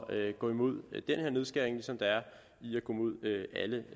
at gå imod den her nedskæring ligesom der er